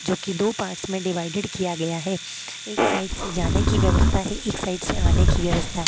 जो कि दो पार्ट्स में डिवाइडेड किया गया है। एक साइड से जाने की व्यवस्था है। एक साइड से आने की व्यवस्था है।